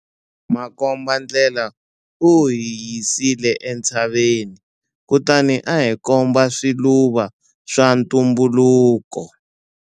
Makombandlela u hi yisile entshaveni kutani a hi komba swiluva swa ntumbuluko.